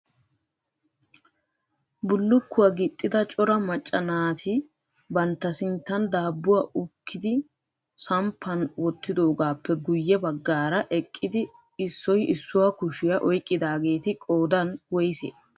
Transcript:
Bullukkuwaa gixxida cora macca naati bantta sinttan daabbuwaa ukkidi samppan wottidoogappe guye baggaara eqqidi issoy issuwaa kushiyaa oyqqidaageeti qoodan woysse?